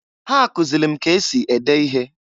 Ha kụzịlị m ka esi ede ihe.